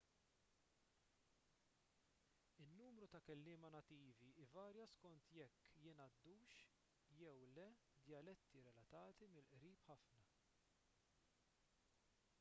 in-numru ta' kelliema nattivi ivarja skont jekk jingħaddux jew le djaletti relatati mill-qrib ħafna